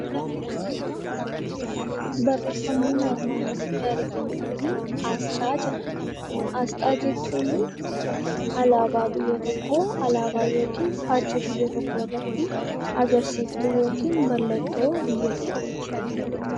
Barreeffamni nuti armaan olitti arginu Kun asxaa jedhama. Asxaa jechuun alaabaa biyya tokkoo qaba yookiin faajjii biyya tokkoo agarsiiftuu yookiin mallattoo biyya tokkooti.